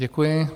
Děkuji.